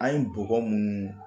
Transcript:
An ye bɔgɔ munnu